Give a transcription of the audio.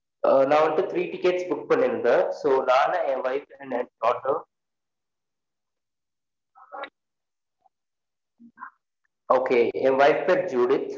நான் வந்து three ticket book பண்ணிருந்தன் so நானு என் wife then என் daughter என் wife பேர் ஜுலி